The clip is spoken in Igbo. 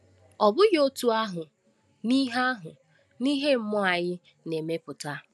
Ọ bụghị otú ahụ n’ihe ahụ n’ihe mmụọ anyị na-emepụta.